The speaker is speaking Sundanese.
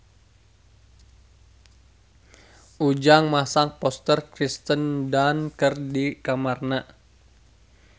Ujang masang poster Kirsten Dunst di kamarna